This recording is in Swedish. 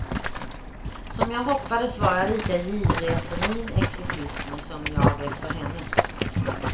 Som jag hoppades var lika girig efter min exotism som jag efter hennes.